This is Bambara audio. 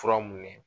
Fura mun ye